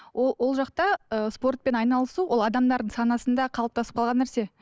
ол жақта ы спортпен айналысу ол адамдардың санасында қалыптасып қалған нәрсе